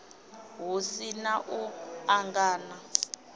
hu si na u angana